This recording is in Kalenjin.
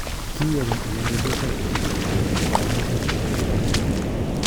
Kiyochin inendet Lukaku chigilisiet ab konyoisiet en old trafford.